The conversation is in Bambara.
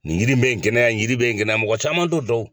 Nin yiri in bɛ nin kɛnɛya nin yiri in bɛ nin kɛnɛya mɔgɔ caman t'o dɔn.